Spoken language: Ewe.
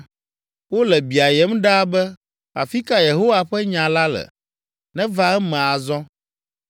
Wole biayem ɖaa be, “Afi ka Yehowa ƒe nya la le? Neva eme azɔ!”